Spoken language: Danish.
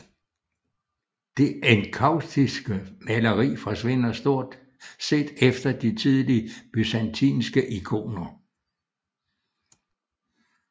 Det enkaustiske maleri forsvinder stort set efter de tidlige byzantinske ikoner